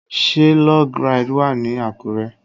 Ṣé Log ride wà ní Àkúrẹ́?